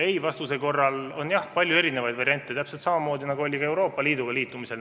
Ei-vastuse korral on jah palju erinevaid variante, täpselt samamoodi, nagu oli ka Euroopa Liiduga liitumisel.